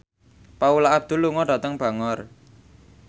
Paula Abdul lunga dhateng Bangor